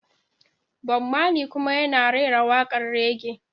Bob Marley kuma yana rera waƙar raggae.